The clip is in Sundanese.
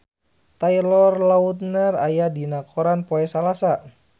Taylor Lautner aya dina koran poe Salasa